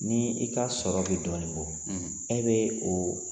Ni i ka sɔrɔ be dɔɔni bɔ e be o